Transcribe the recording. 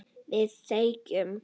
Við þegjum.